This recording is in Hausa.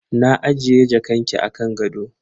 Na ajiye jakanki a kan gado.